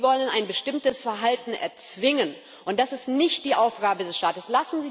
Sie wollen ein bestimmtes Verhalten erzwingen, und das ist nicht die Aufgabe des Staates.